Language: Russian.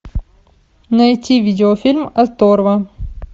найти видеофильм оторва